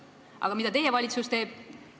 Aga mida teie valitsus teeb?